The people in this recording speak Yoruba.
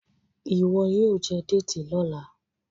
ìwo yíò jé Déètì lọla.